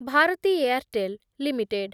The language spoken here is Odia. Bharati Airtel limited